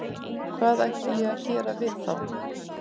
Hvað ætti ég að gera við þá?